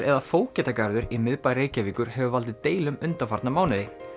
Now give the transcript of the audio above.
eða Fógetagarðurinn í miðbæ Reykjavíkur hefur valdið deilum undanfarna mánuði